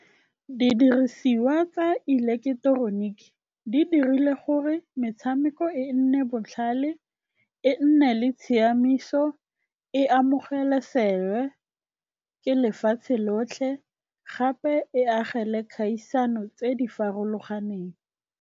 Didirisiwa tsa ileketeroniki di dirile gore metshameko e nne botlhale, e nne le tshiamiso, e amogelesewe ke lefatshe lotlhe gape e agele kgaisano tse di farologaneng.